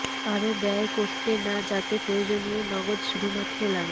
আরো ব্যয় করতে না যাতে প্রয়োজনীয় নগদ শুধুমাত্র লাগে